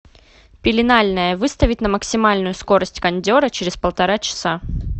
пеленальная выставить на максимальную скорость кондера через полтора часа